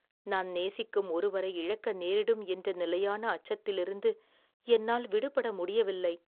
நான் நேசிக்கும் ஒருவரை இழக்க நேரிடும் என்ற நிலையான அச்சத்திலிருந்து என்னால் விடுபட முடியவில்லை